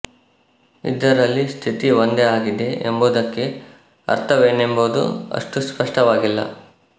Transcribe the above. ಇದರಲ್ಲಿ ಸ್ಥಿತಿ ಒಂದೇ ಆಗಿದೆ ಎಂಬುದಕ್ಕೆ ಅರ್ಥವೇನೆಂಬುದು ಅಷ್ಟು ಸ್ಪಷ್ಟವಾಗಿಲ್ಲ